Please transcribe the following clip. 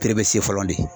fɔlɔ de